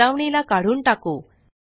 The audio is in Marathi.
चेतावणी ला काढून टाकु